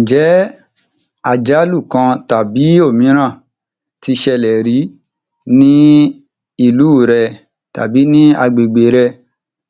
Ǹjẹ́ àjálù kan tàbí òmíràn ti ṣẹlẹ̀ rí ní ìlú rẹ tàbí ní agbègbè rẹ